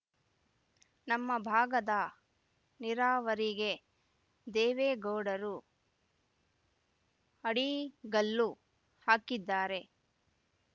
ನಮ್ಮ ಭಾಗದ ನೀರಾವರಿಗೆ ದೇವೇಗೌಡರು ಅಡಿಗಲ್ಲು ಹಾಕಿದ್ದಾರೆ